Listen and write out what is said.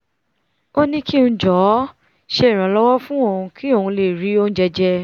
ó ní kí ng jọ̀ọ́ ṣe ìrànlọ́wọ́ fún òun kí òun lè rí oúnjẹ jẹ